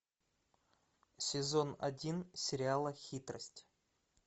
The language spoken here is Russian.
сезон один сериала хитрость